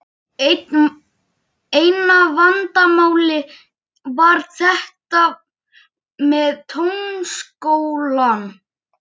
Eina vandamálið var þetta með Tónskólann.